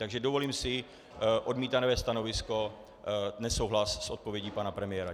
Takže dovolím si odmítavé stanovisko, nesouhlas s odpovědí pana premiéra.